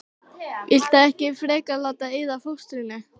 Viltu ekki frekar láta eyða fóstrinu?